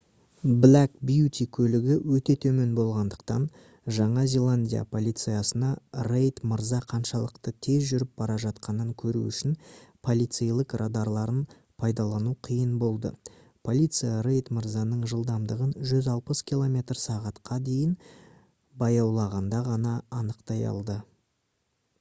black beauty көлігі өте төмен болғандықтан жаңа зеландия полициясына рейд мырза қаншалықты тез жүріп бара жатқанын көру үшін полицейлік радарларын пайдалану қиын болды. полиция рейд мырзаның жылдамдығын 160 км/сағ-қа дейін баяулағанда ғана анықтай алды